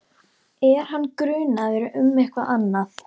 Er hann grunaður um eitthvað annað?